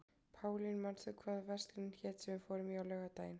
Pálín, manstu hvað verslunin hét sem við fórum í á laugardaginn?